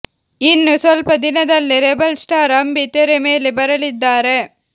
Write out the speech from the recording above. ಇನ್ನು ಸ್ವಲ್ಪ ದಿನದಲ್ಲೇ ರೆಬಲ್ ಸ್ಟಾರ್ ಅಂಬಿ ತೆರೆ ಮೇಲೆ ಬರಲಿದ್ದಾರೆ